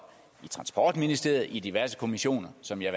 i transportministeriet og i diverse kommissioner som jeg